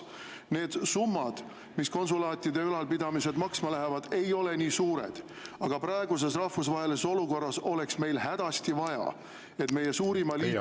Need summad, mis konsulaatide ülalpidamisele, ei ole nii suured, aga praeguses rahvusvahelises olukorras oleks meil hädasti vaja, et meie suurima liitlase juures …